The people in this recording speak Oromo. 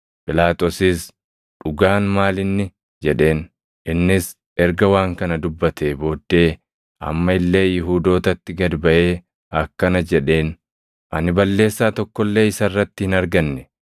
Phiilaaxoosis, “Dhugaan maal inni?” jedheen. Innis erga waan kana dubbatee booddee amma illee Yihuudootatti gad baʼee akkana jedheen; “Ani balleessaa tokko illee isa irratti hin arganne.